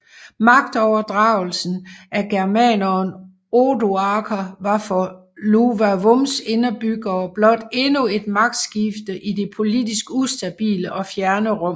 Magtovertagelsen af germaneren Odoaker var for Iuvavums indbyggere blot endnu et magtskifte i det politisk ustabile og fjerne Rom